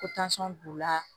Ko b'u la